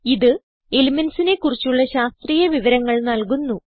ഇത് elementsനെ കുറിച്ചുള്ള ശാസ്ത്രീയ വിവരങ്ങൾ നൽകുന്നു